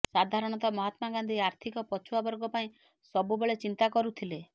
ସାଧରଣତଃ ମହାତ୍ମା ଗାନ୍ଧୀ ଆର୍ଥିକ ପଛୁଆ ବର୍ଗ ପାଇଁ ସବୁବେଳେ ଚିନ୍ତା କରୁଥିଲେ